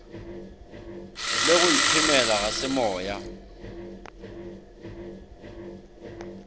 le go iphemela ga semoya